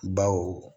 Baw